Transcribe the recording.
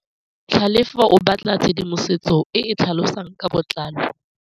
Tlhalefô o batla tshedimosetsô e e tlhalosang ka botlalô.